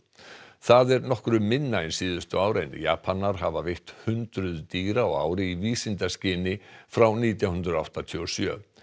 það er nokkru minna en síðustu ár en Japanar hafa veitt hundruð dýra á ári í vísindaskyni frá nítján hundruð áttatíu og sjö